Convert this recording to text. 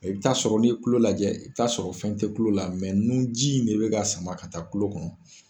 I bɛ taa sɔrɔl n'i ye tulo lajɛ i bɛ taa sɔrɔ fɛn tɛ tulo la nunji in de bɛ ka sama ka taa tulo kɔnɔ